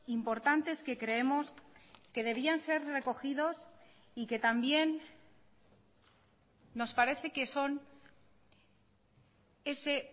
importantes que creemos que debían ser recogidos y que también nos parece que son ese